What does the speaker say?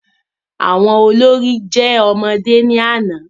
Àwọn olórí jẹ́ ọmọdé ní àná